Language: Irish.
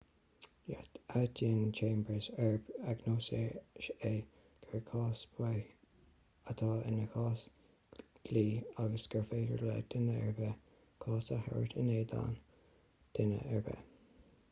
áitíonn chambers arb agnóisí é gur cás baoth atá ina chás dlí agus gur féidir le duine ar bith cás a thabhairt in éadan duine ar bith